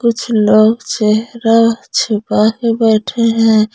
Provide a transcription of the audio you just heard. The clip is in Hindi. कुछ लोग चेहरा छुपा के बैठे हैं।